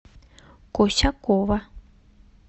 косякова